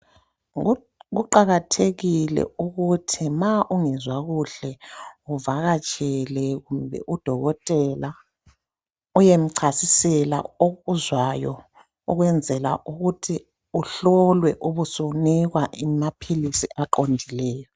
Kuqakathekile ukuthi ma ungezwa kuhle uvakatshele kumbe udokotela uyemchasisela okuzwayo ukwenzela ukuthi uhlolwe ube usunikwa amapills aqondileyo